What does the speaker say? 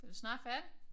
Du da snart færdig